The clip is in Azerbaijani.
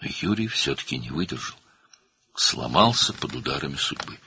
Lakin Yuri yenə də dözmədi, taleyin zərbələri altında sındı.